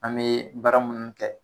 An be baara munnu kɛ